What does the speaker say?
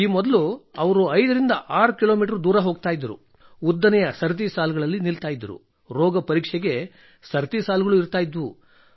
ಈ ಮೊದಲು ಅವರು 56 ಕಿಲೋಮೀಟರ್ ದೂರ ಹೋಗುತ್ತಿದ್ದರು ಉದ್ದನೆಯ ಸರತಿ ಸಾಲುಗಳಲ್ಲಿ ನಿಲ್ಲುತ್ತಿದ್ದರು ರೋಗ ಪರೀಕ್ಷೆಗೆ ಸರತಿ ಸಾಲುಗಳು ಇರುತ್ತಿದ್ದವು